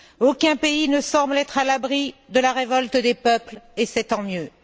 Aucun pays ne semble être à l'abri de la révolte des peuples et c'est tant mieux.